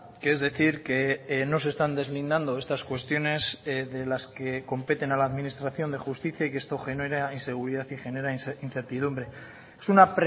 que es decir que no se están deslindando estas cuestiones de las que competen a la administración de justicia y que esto genera inseguridad y genera incertidumbre es una